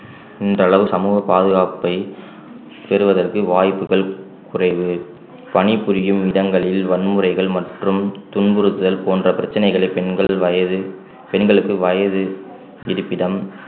இந்தளவு சமூக பாதுகாப்பை பெறுவதற்கு வாய்ப்புகள் குறைவு பணிபுரியும் இடங்களில் வன்முறைகள் மற்றும் துன்புறுத்தல் போன்ற பிரச்சனைகளை பெண்கள் வயது பெண்களுக்கு வயது இருப்பிடம்